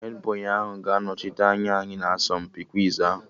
Hedbọyị ahụ ga-anọchite anya anyị na asọmpi kwiz ahụ